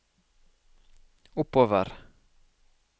oppover